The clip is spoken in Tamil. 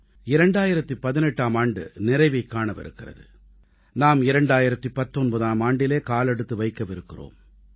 2018ஆம் ஆண்டு நிறைவைக் காணவிருக்கிறது நாம் 2019ஆம் ஆண்டிலே காலெடுத்து வைக்கவிருக்கிறோம்